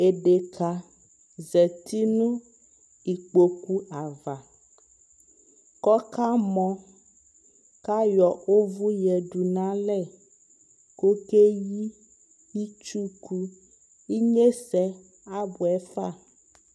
ɛdɛka zati nʋ ikpɔkʋ aɣa kʋ ɔka mɔ kʋ ayɔ ɔvʋ yadʋ nʋ alɛ kʋ ɔkɛ hli itsʋkʋ, inyɛsɛ abʋɛ ƒa